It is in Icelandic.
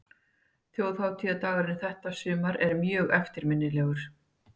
Þjóðhátíðardagurinn þetta sumar er mjög eftirminnilegur.